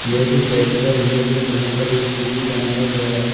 यह भी चर्च का इमेज है जहाँ पर एक सूदी बनाया गया है।